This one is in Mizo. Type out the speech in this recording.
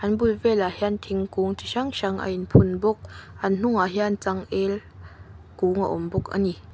an bul velah hian thingkung chi hrang hrang a in phun bawk an hnungah hian chang el lung a awm bawk ani.